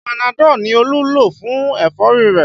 Panadọ ni Olú lo fún ẹ̀fọ́rí rẹ̀